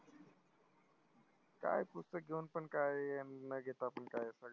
काय पुस्तक घेऊन पण काय अन घेता पण काय?